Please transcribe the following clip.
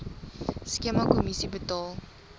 skema kommissie betaal